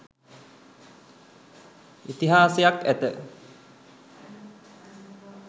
ඉතිහාසයක් ඇත.